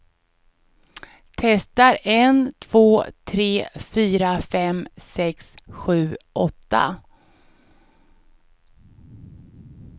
Testar en två tre fyra fem sex sju åtta.